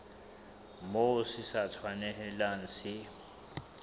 moo se sa tshwanelang se